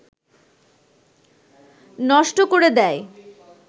নষ্ট করে দেয়